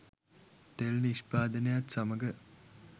තෙල් නිෂ්පාදනයත් සමග